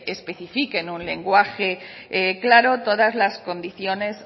especifique en un lenguaje claro todas las condiciones